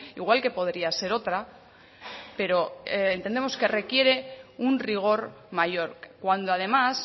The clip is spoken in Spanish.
igual que podría ser otra pero entendemos que requiere un rigor mayor cuando además